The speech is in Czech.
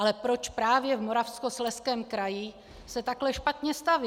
Ale proč právě v Moravskoslezském kraji se takhle špatně staví?